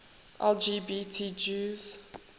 lgbt jews